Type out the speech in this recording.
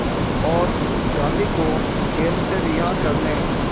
और गांधी को जेल से रिहा करने